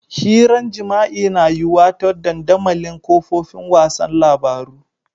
Hiran jima'i na yuwa ta dandamalin kafofin wasan labaru.